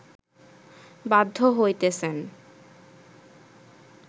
বাধ্য হইতেছেন